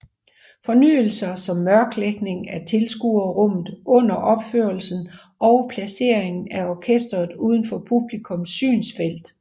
Fornyelser som mørklægning af tilskuerrummet under opførelserne og placeringen af orkestret uden for publikums synsfelt